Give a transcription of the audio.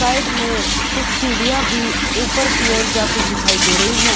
Side में कुछ सीढ़ियां भी ऊपर की ओर जाती दिखाई दे रही है।